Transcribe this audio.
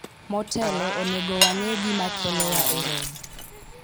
motelo, onego wang'e gima kelowa e romo